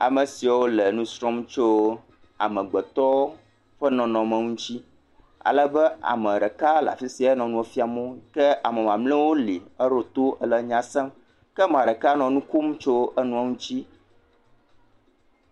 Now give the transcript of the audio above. Ame siwo le nu srɔ̃m tso amegbetɔ ƒe nɔnɔme ŋuti alebe ame ɖeke le afi sia nɔ nua fiam wo ke ame mamleawo li eɖo to le nya sem, ke ame ɖeka le nu kum tso enua ŋuti.